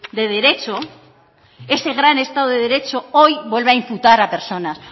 de derecho ese gran estado de derecho hoy vuelve a imputar a personas